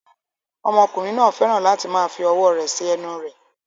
Ọmọkùnrin náà fẹ́ràn láti máa fi ọwọ́ rẹ̀ sí ẹnu rẹ̀